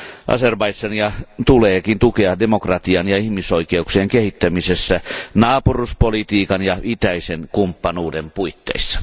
Azerbaidžania tuleekin tukea demokratian ja ihmisoikeuksien kehittämisessä naapuruuspolitiikan ja itäisen kumppanuuden puitteissa.